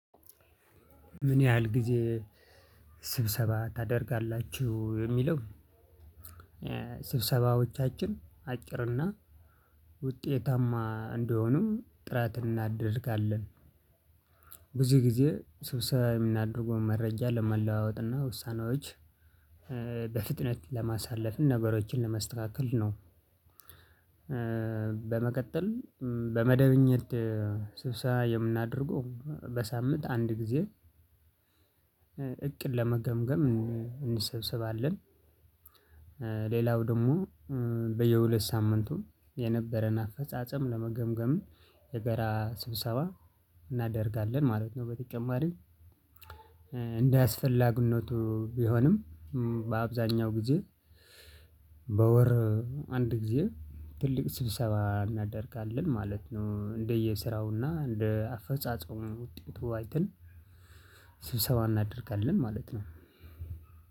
ምን ያህል ጊዜ ስብሰባ ታደርጋላችሁ የሚለው? ስብሰባዎቻችን አጭርና ውጤታማ እንድሆኑ ጥረት እናደርጋለን። ብዙ ጊዜ ስብሰባ የሚናደርገውን መረጃ ለመለዋወጥና ውሳኔዎች በፍጥነት ለማሳለፍ ነገሮችን ለመስተካከል ነው። በመቀጠል በመደብኘት ስብሰባ የምናደርገው በሳምንት አንድ ጊዜ እቅድ ለመገምገም እንሰበስባለን። ሌላው ደግሞ በየሁለት ሳምንቱ የነበረን አፈጻጸም ለመገምገም የጋራ ስብሰባ እናደርጋለን ማለት ነው። በተጨማሪ እንዳስፈላግነቱ ቢሆንም በአብዛኛው ጊዜ በወር አንድ ጊዜ ትልቅ ስብሰባ እናደርጋለን ማለት ነው። እንደየስራውና እንደ አፈጻጸሙ ውጤቱ አይተን እናደርጋለን ማለት ነው።